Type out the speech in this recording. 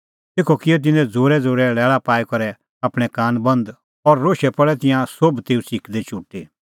तेखअ किऐ तिन्नैं ज़ोरैज़ोरै लैल़ा पाई करै आपणैं कान बंद और रोशै पल़ै तिंयां सोभ तेऊ च़िकदै चुटी